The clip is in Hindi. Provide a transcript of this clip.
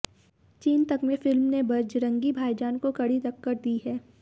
चीन तक में फिल्म ने बजरंगी भाईजान को कड़ी टक्कर दी है